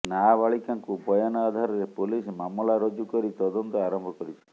ନାବାଳିକାଙ୍କୁ ବୟାନ ଆଧାରରେ ପୋଲିସ ମାମଲା ରୁଜୁ କରି ତଦନ୍ତ ଆରମ୍ଭ କରିଛି